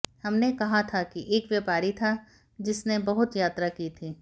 हमने कहा था कि एक व्यापारी था जिसने बहुत यात्रा की थी